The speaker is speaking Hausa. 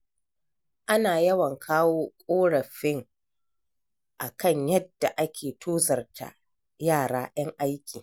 Ana yawan kawo ƙorafin a kan yadda ake tozarta yara ƴan aiki.